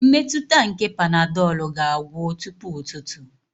Mmetụta nke panadolu ga-agwụ tupu ụtụtụ.